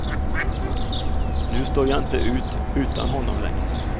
Nu står jag inte ut utan honom längre.